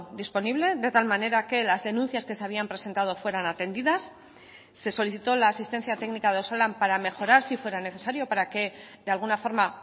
disponible de tal manera que las denuncias que se habían presentado fueran atendidas se solicitó la asistencia técnica de osalan para mejorar si fuera necesario para que de alguna forma